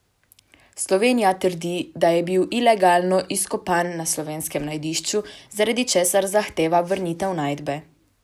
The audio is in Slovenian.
Slovenija trdi, da je bil ilegalno izkopan na slovenskem najdišču, zaradi česar zahteva vrnitev najdbe.